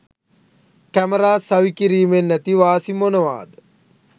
Camera සවිකිරීමෙන් ඇති වාසි මොනවාද?